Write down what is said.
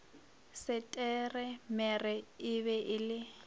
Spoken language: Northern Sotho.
setemere e be e le